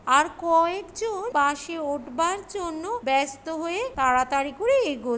আর কয়েক জন বাসে উঠবার জন্য ব্যস্ত হয়ে তাড়াতাড়ি করে এগো--